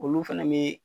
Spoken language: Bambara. Olu fɛnɛ be